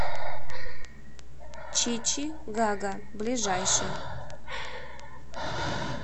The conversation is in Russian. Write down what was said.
чичи гага ближайший